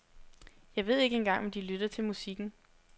Jeg ved ikke engang om de lytter til musikken.